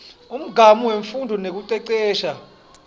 umgamu wemfundvo nekucecesha